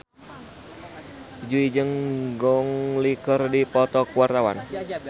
Jui jeung Gong Li keur dipoto ku wartawan